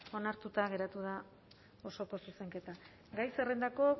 onartuta geratu da osoko zuzenketa gai zerrendako